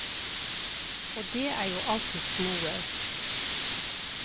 Og det er jo alltids noe.